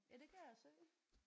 Ja det kan jeg se